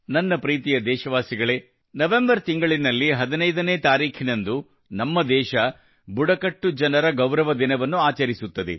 ನನ್ನ ಪ್ರೀತಿಯ ದೇಶವಾಸಿಗಳೇ ನವೆಂಬರ್ ತಿಂಗಳಿನಲ್ಲಿ 15 ತಾರೀಖಿನಂದು ನಮ್ಮ ದೇಶ ಬುಡಕಟ್ಟು ಜನರ ಗೌರವ ದಿನವನ್ನು ಆಚರಿಸುತ್ತದೆ